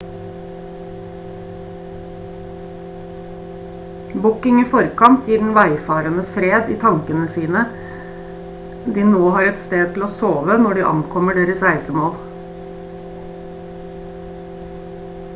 booking i forkant gir den veifarende fred i tankene siden de nå har et sted å sove når de ankommer deres reisemål